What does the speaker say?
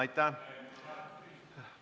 Aitäh!